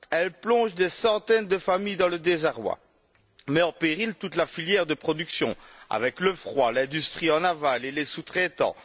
Elle plonge des centaines de familles dans le désarroi, met en péril toute la filière de production, avec le froid, l'industrie en aval et les sous traitants.